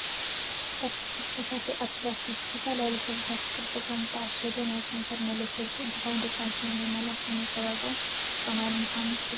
ቻብስቲክ ፈሳሲ ኣብ ፕላስቲክ ብዝተፈላለዩ ሕብርታትን ቅርፅን ዝተዓሸገ ናይ ከንፈር መለስለሲ እንትከውን ደቂ ኣንስትዮ ንመመላክዕን መፀበቅን ዝጥቀማሉ ምኳነን ትፈልጡ ዶ ?